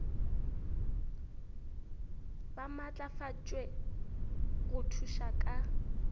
ba maatlafatšwe go thuša ka